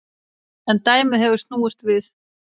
En dæmið hefur snúist við.